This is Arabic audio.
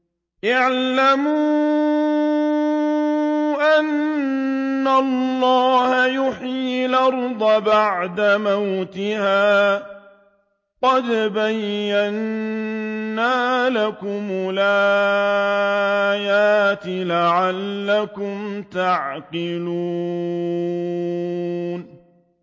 اعْلَمُوا أَنَّ اللَّهَ يُحْيِي الْأَرْضَ بَعْدَ مَوْتِهَا ۚ قَدْ بَيَّنَّا لَكُمُ الْآيَاتِ لَعَلَّكُمْ تَعْقِلُونَ